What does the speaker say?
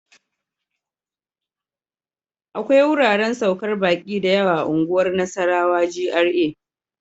akwai wuraren saukar baƙi da yawa unguwar Nasarawa GRA.